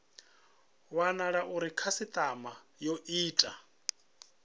wanala uri khasitama yo ita